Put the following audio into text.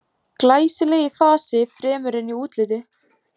Glæsileg í fasi fremur en í útliti.